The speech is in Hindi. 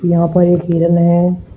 यहां पर एक हिरन है।